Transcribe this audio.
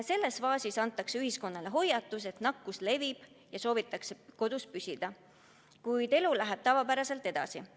Selles faasis antakse ühiskonnale hoiatus, et nakkus levib, ja soovitakse kodus püsida, kuid elu läheb tavapäraselt edasi.